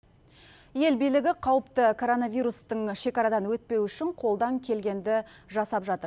ел билігі қауіпті коронавирустың шекарадан өтпеуі үшін қолдан келгенді жасап жатыр